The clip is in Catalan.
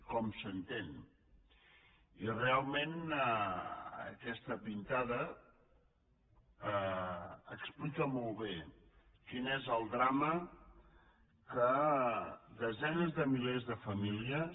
com s’entén i realment aquesta pintada explica molt bé quin és el drama que desenes de milers de famílies